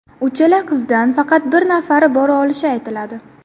Uchala qizdan faqat bir nafari bora olishi aytiladi.